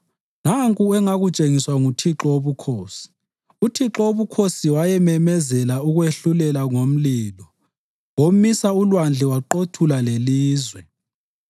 Nanku engakutshengiswa nguThixo Wobukhosi: uThixo Wobukhosi wayememezela ukwehlulela ngomlilo; womisa ulwandle waqothula lelizwe.